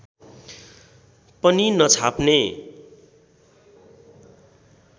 पनि नछाप्ने